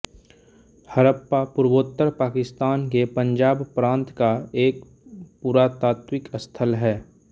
हड़प्पा पूर्वोत्तर पाकिस्तान के पंजाब प्रांत का एक पुरातात्विक स्थल है